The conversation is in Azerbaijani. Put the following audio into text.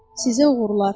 Sizə uğurlar.